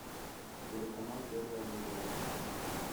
телеканал первый образовательный